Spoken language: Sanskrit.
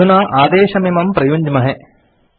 अधुना आदेशमिमं प्रयुञ्ज्महे